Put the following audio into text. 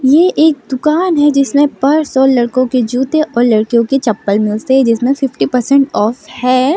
ये एक दुकान है जिसमें पर्स और लड़कों के जूते और लड़कियों की चप्पल मिलते हैं जिसमें फिफ्टी परसेंट ऑफ है।